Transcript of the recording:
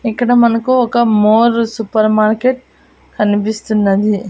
ఇక్కడ మనకు ఒక మోర్ సూపర్ మార్కెట్ కనిపిస్తున్నది.